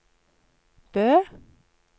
Bø